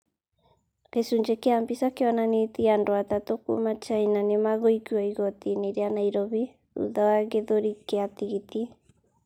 Gĩcunjĩ kĩa mbica kĩonanĩtie andũ atatũ a kuuma China nĩ magũikio igoti-inĩ rĩa Nairobi thutha wa gĩthũri kĩa tigiti.